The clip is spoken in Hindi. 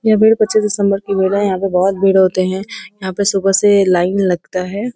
यह दिसंबर का मेला है यहाँ पे बहोत भीड़ होते है यहाँ पे सुबह से लाइन लगता है।